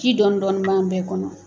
Ci dɔɔnin dɔnnin bɛ an bɛɛ kɔnɔ.